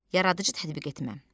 Yaradıcı tətbiq etmə.